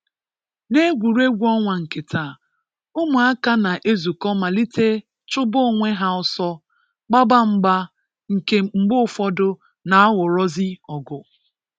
N'egwuregwu ọnwa nke taa, ụmụaka na - ezukọ malite Chụba onwe ha ọsọ, gbaba mgba nke mgbe ụfọdụ na-aghọrọzị ọgụ.